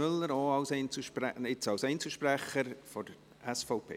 Auch als Einzelsprecher: Mathias Müller, SVP.